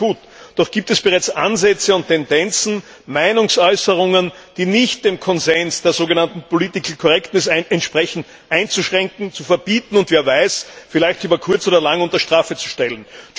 Das ist schön und gut, doch gibt es bereits Ansätze und Tendenzen, Meinungsäußerungen, die nicht dem Konsens der sogenannten Political Correctness entsprechen, einzuschränken, zu verbieten und, wer weiß, vielleicht über kurz oder lang unter Strafe zu stellen.